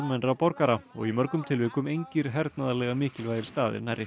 almennra borgara og í mörgum tilvikum engir hernaðarlega mikilvægir staðir nærri